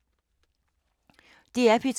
DR P2